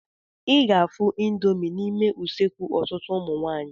I ga-afụ ịndomii n'ime useekụ ọtụtụ ụmụ nwaanyị.